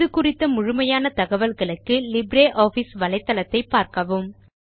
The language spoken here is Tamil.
இது குறித்த முழுமையான தகவல்களுக்கு லிப்ரியாஃபிஸ் வலைத்தளத்தை பார்க்கவும்